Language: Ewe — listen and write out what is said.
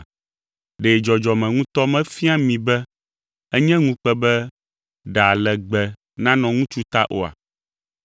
Ɖe dzɔdzɔme ŋutɔ mefia mi be enye ŋukpe be ɖa legbe nanɔ ŋutsu ta oa?